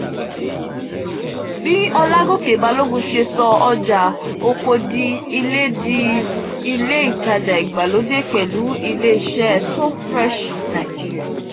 bí ọlágòkè balógun se so ọjà-oko di ilé di ilé ìtaja ìgbàlódé pẹ̀lu iléeṣẹ́ so freshng.